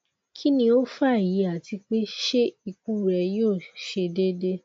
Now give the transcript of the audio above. kini o fa eyi ati pe se ikun re yo se dede